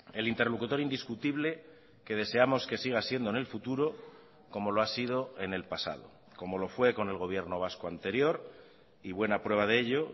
el interlocutor indiscutible que deseamos que siga siendo en el futuro como lo ha sido en el pasado como lo fue con el gobierno vasco anterior y buena prueba de ello